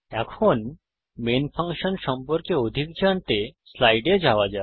এখন main function সম্পর্কে অধিক জানতে স্লাইডে যাওয়া যাক